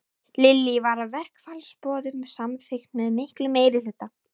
Lillý, var verkfallsboðun samþykkt með miklum meirihluta?